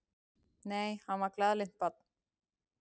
Nei, hann var glaðlynt barn.